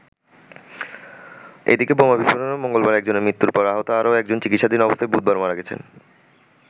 এদিকে বোমা বিস্ফোরণে মঙ্গলবার একজনের মৃত্যুর পর আহত আরও একজন চিকিৎসাধীন অবস্থায় বুধবার মারা গেছেন।